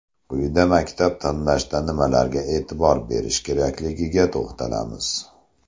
Quyida maktab tanlashda nimalarga e’tibor berish kerakligiga to‘xtalamiz.